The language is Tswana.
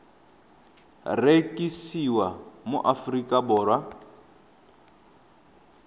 rekisiwa mo aforika borwa di